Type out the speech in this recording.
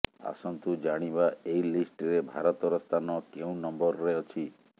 ଆସନ୍ତୁ ଜାଣିବା ଏହି ଲିଷ୍ଟ ରେ ଭାରତ ର ସ୍ଥାନ କେଉଁ ନମ୍ବର ରେ ଅଛି